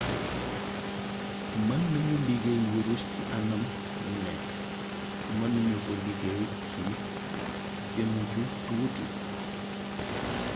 mën nañu liggéey wurus ci anam wu nekk mën nañu ko liggéey ci jëmm yu tuuti